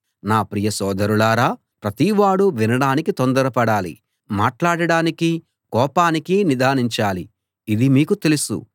నా ప్రియ సోదరులారా ప్రతివాడూ వినడానికి తొందరపడాలి మాట్లాడడానికీ కోపానికీ నిదానించాలి ఇది మీకు తెలుసు